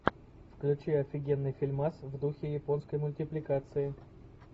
включи офигенный фильмас в духе японской мультипликации